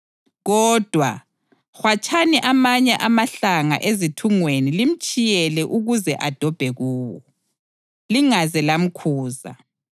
Kodwa, hwatshani amanye amahlanga ezithungweni limtshiyele ukuze adobhe kuwo, lingaze lamkhuza.”